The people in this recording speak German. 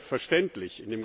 Selbstverständlich!